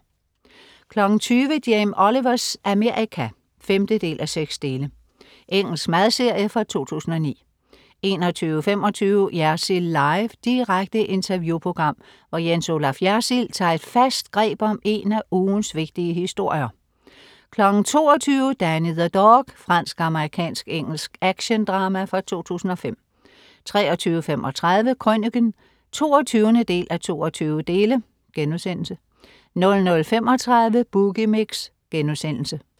20.00 Jamie Olivers Amerika 5:6. Engelsk madserie fra 2009 21.25 Jersild Live. Direkte interview-program, hvor Jens Olaf Jersild tager et fast greb om en af ugens vigtige historier 22.00 Danny the Dog. Fransk-amerikansk-engelsk actiondrama fra 2005 23.35 Krøniken 22:22* 00.35 Boogie Mix*